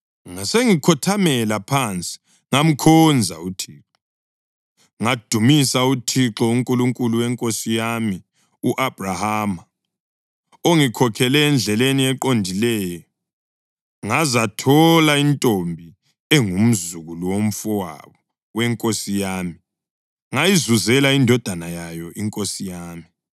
ngasengikhothamela phansi, ngamkhonza uThixo. Ngadumisa uThixo, uNkulunkulu wenkosi yami u-Abhrahama, ongikhokhele endleleni eqondileyo ngazathola intombi engumzukulu womfowabo wenkosi yami ngayizuzela indodana yayo inkosi yami.